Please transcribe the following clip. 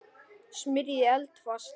Smyrjið eldfast mót.